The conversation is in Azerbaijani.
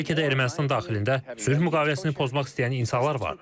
Bəlkə də Ermənistan daxilində sülh müqaviləsini pozmaq istəyən insanlar var.